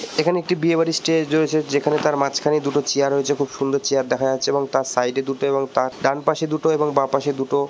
এখানে একটি বিয়ে বাড়ির স্টেজ রয়েছে যেখানে তার মাঝখানে দুটো চেয়ার রয়েছে খুব সুন্দর চেয়ার দেখা যাচ্ছে এবং তার সাইড -এ দুটো এবং তার ডান পাশে দুটো এবং বাঁ পশে দুটো--